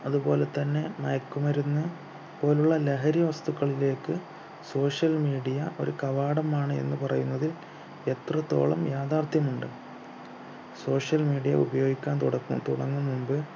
അതുപോലെ തന്നെ മയക്കുമരുന്ന് പോലെയുള്ള ലഹരി വസ്തുക്കളിലേക്ക് social media ഒരു കവാടമാണ് എന്ന് പറയുന്നത് എത്രത്തോളം യാഥാർഥ്യമുണ്ട് social media ഉപയോഗിക്കാൻ തുടങ്ങു തുടങ്ങും മുമ്പ്